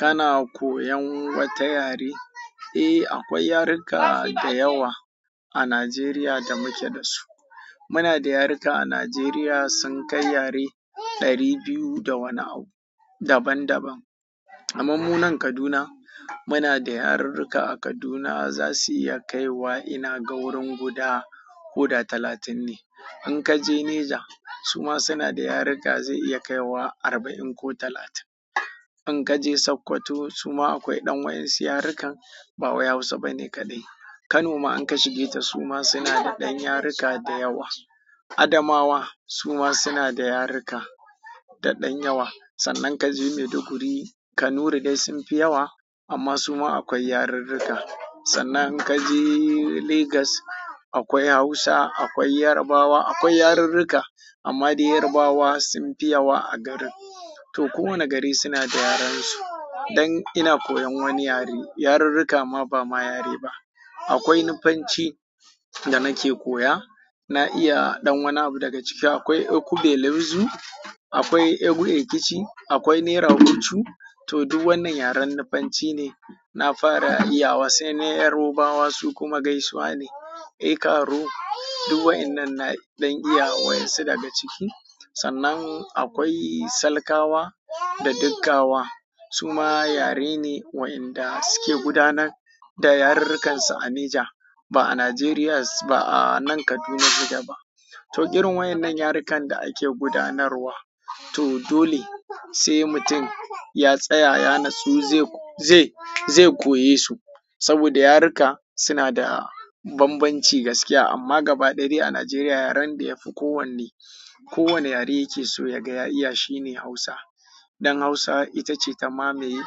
Kana koyan wata yare? Eh, akwai yaruka da yawa a Najeriya da muke da su. Muna da yaruka a Najeriya sun kai yare ɗari biyu da wani abu daban daban. Kaman mu nan Kaduna, muna da yarurruka a Kaduna za su iya kai wa ina ga wurin guda koda talatin ne. In ka je Neja, su ma suna da yaruka zai iya kai wa arba'in ko talatin. In ka je Sokoto su ma akwai ɗan wa'yan su yarukan, ba wai Hausa bane kaɗai. Kano ma in ka shige ta su ma suna da ɗan yaruka da yawa. Adamawa su ma suna da yaruka da ɗan yawa. Sannan ka je Maiduguri, Kanuri dai sun fi yawa amma su ma akwai yarurruka. Sannan in ka je Lagos akwai Hausa, akwai Yarabawa, akwai yarurruka amma dai Yarabawa sun fi yawa a garin. To kowane gari suna da yaren su. Dan ina koyan wani yare, yarurruka ma ba ma yare ba. Akwai Nufanci da nake koya, na iya ɗan wani abu daga ciki. Akwai Ekubelezu, akwai Egu Ekichi, akwai Neragucu. To duk wannan yaren Nufanci ne. Na fara iya wa sai na Yarabawa su kuma gaisuwa ne. Eh karo, duk wa'inan na iya wa'yan su daga ciki. Sannan akwai Salkawa da Dikkawa. Su ma yare ne wa'inda suke gudanar da yarurrukansu a Neja, ba a Nigeria ba a nan Kaduna gida ba. To irin wa'yannan yarukan da ake gudanarwa. To dole sai mutum ya tsaya ya natsu zai, zai, zai koyesu saboda yaruka suna da banbanci gaskiya amma gaba ɗaya dai a Najeriya yaren da ya fi kowanne, kowane yare yake so ya ga ya iya shine Hausa. Dan Hausa ita ce ta mamaye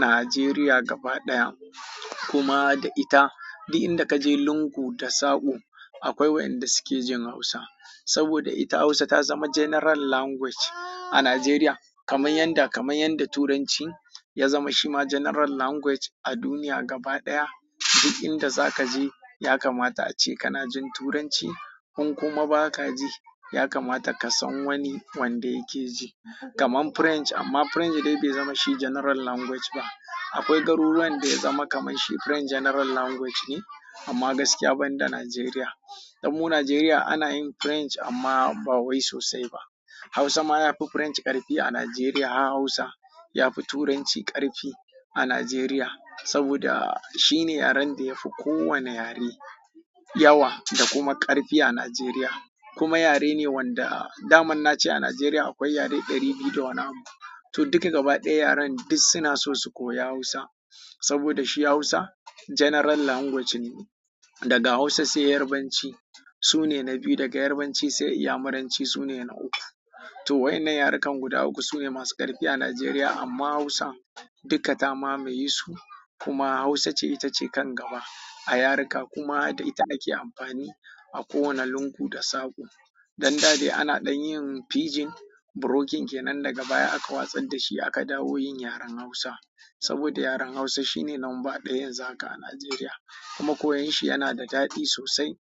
Najeriya gaba ɗaya. Kuma da ita duk inda ka je lungu da saƙo akwai wa'inda suke jin Hausa. Saboda ita Hausa ta zama general language a Najeriya kamar yadda, kamar yadda Turanci ya zama shi ma general language a duniya gaba ɗaya. Duk inda za ka je ya kamata ace kana jin Turanci. In kuma ba ka ji ya kamata ka san wani wanda yake ji. Kaman French amma French dai bai zama shi general language ba. Akwai garuruwan da ya zama kaman shi French general language ne amma gaskiya ban da Najeriya. Dan mu Najeriya ana yin French amma ba wai sosai ba. Hausa ma yafi French ƙarfi a Najeriya. Hausa yafi Turanci ƙarfi a Najeriya saboda shine yaren da ya fi kowane yare yawa da kuma ƙarfi a Najeriya. Kuma yare ne wanda daman na ce a Najeriya akwai yare ɗari biyu da wani abu. To duk gaba ɗaya yaren duk suna so su koya Hausa saboda shi Hausa general language ne. Daga Hausa sai Yarabanci su ne na biyu. Daga Yarabanci sai Inyamuranci su ne na uku. To wa'innan yarukan guda uku sune masu ƙarfi a Najeriya amma Hausa duka ta mamaye su kuma Hausa ce ita ce kan gaba a yaruka kuma da ita ake amfani a kowane lungu da saɓo. Dan da dai ana ɗan yin fijin brokin kenan daga baya aka watsar da shi aka dawo yin yaren Hausa. Saboda yaren Hausa shine lamba ɗaya yanzu zaka a Najeriya kuma koyon shi yana da daɗi sosai.